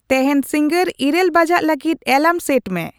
ᱛᱮᱹᱦᱮᱹᱧ ᱥᱤᱝᱜᱟᱹᱲ ᱤᱨᱟᱹᱞ ᱵᱟᱡᱟᱜ ᱞᱟᱹᱜᱤᱫ ᱮᱞᱟᱨᱟᱢ ᱥᱮᱹᱴ ᱢᱮ